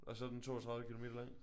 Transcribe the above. Og så er den 32 kilometer lang?